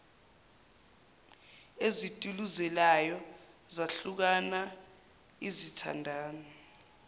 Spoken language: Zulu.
ezituluzelayo zahlukana izithandani